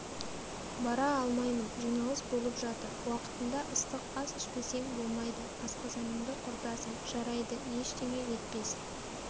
бара алмаймын жиналыс болып жатыр уақытында ыстық ас ішпесең болмайды асқазаныңды құртасың жарайды ештеңе етпес